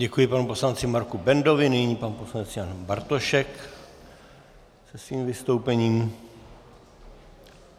Děkuji panu poslanci Marku Bendovi, nyní pan poslanec Jan Bartošek se svým vystoupením.